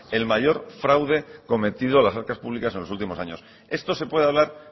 el mayor fraude cometido a las arcas públicas en los últimos años esto se puede hablar